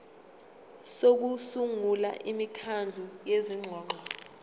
sokusungula imikhandlu yezingxoxo